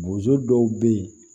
Bozo dɔw be yen